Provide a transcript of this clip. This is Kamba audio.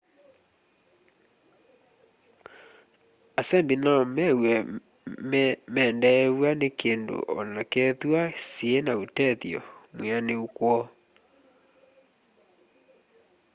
asembi no mew'e mendeew'a ni kindu onakethwa syiina utethyo mwianiu kwoo